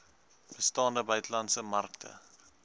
bestaande buitelandse markte